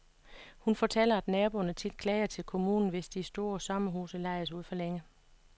Hun fortæller, at naboerne tit klager til kommunen, hvis de store sommerhuse lejes ud for længe.